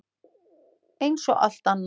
Eins og allt annað.